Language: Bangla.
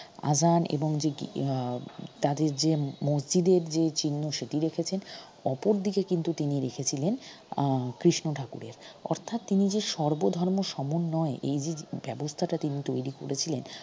আযান এবং আহ তাদের যে মসজিদের যে চিহ্ন সেটি রেখেছেন অপরদিকে কিন্তু তিনি রেখেছিলেন আহ কৃষ্ণ ঠাকুরের অর্থাৎ তিনি যে সর্বধর্ম সমন্বয়ে এইযে ব্যবস্তাটা তিনি তৈরি করেছিলেন